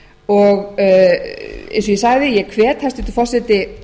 og eins og ég sagði ég hvet hæstvirtur forseti